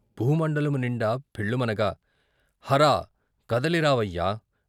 భూమండలము నిండా ఫెళ్ళుమనగా , హరా ! కదలిరావయ్యా !